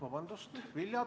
Vabandust!